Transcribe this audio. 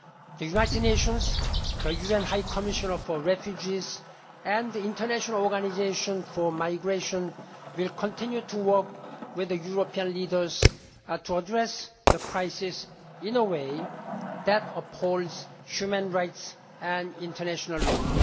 The United Nations, the UN High Commissioner for Refugees and the International Organisation for Migration will continue to work with European leaders to address the crisis in a way that upholds human rights and international law.